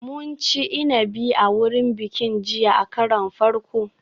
Mun ci inabi a wurin bikin jiya a karon farko